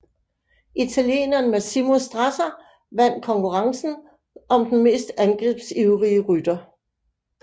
Italieneren Massimo Strazzer vand konkurrencen om den mest angrebsivrige rytter